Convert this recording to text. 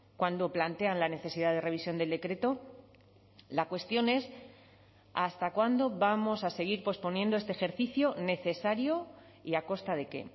cuando plantean la necesidad de revisión del decreto la cuestión es hasta cuándo vamos a seguir posponiendo este ejercicio necesario y a costa de qué